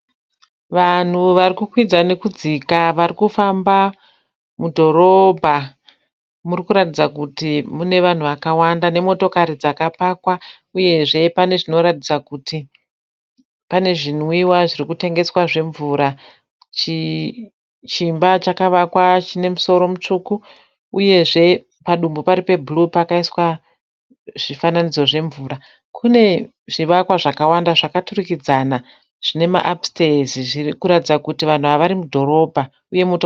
Vanhu vari kukwidza nekudzika vari kufamba mudhorobha. Murikuratidza kuti mune vanhu vakawanda nemotokari dzakapakwa uyezve pane zvinoratidza kuti pane zvinwiwa zvirikutengeswa zvemvura. Chimba chakavakwa chine musoro mutsvuku pari pedumbu pari pebhuruu pakaiswa mufananidzo wemvura uyezve kune zvivakwa zvakawanda zvine apusiteezi kuratidza kuti vanhu ava vari mudhorobha.